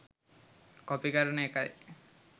copy කරන එකයි